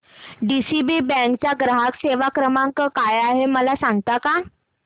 DCB bank चा ग्राहक सेवा क्रमांक काय आहे मला सांगता का